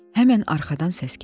Həmən arxadan səs gəldi.